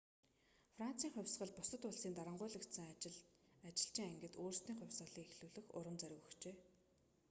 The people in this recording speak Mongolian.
францын хувьсгал бусад улсын дарангуйлагдсан ажилчин ангид өөрсдийн хувьсгалыг эхлүүлэх урам зориг өгчээ